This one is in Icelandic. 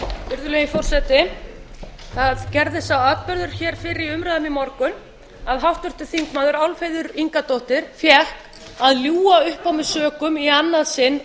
virðulegi forseti það gerðist sá atburður fyrr í umræðunni í morgun að háttvirtir þingmenn álfheiður ingadóttir fékk að ljúga upp á mig sökum í annað sinn